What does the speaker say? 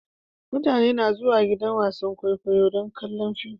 Mutane na zuwan gidan wasan kwaikwayo don kallon fim.